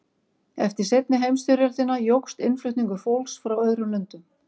Eftir seinni heimsstyrjöldina jókst innflutningur fólks frá öðrum löndum.